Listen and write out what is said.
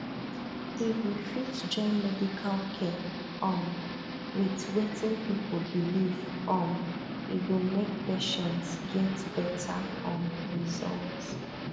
if we fit join medical care um with wetin people believe um e go make patients get better um result